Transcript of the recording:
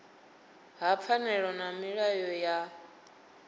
ha pfanelo na milayo ya